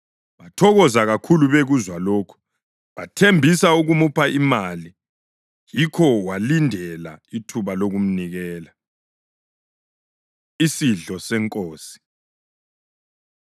Bathokoza kakhulu bekuzwa lokhu, bathembisa ukumupha imali. Yikho walindela ithuba lokumnikela. Isidlo SeNkosi